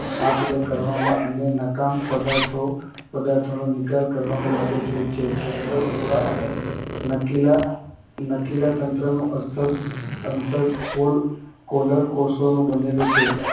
આપ-લે કરવામાં અને નકામા પદાર્થોનો નિકાલ કરવામાં મદદરૂપ છે. છિદ્રિગુહા અને નલિકાતંત્રનું અસ્તર કોલરકોષોનું બનેલું છે.